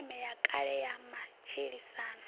sisiṱeme ya kale ya matshilisano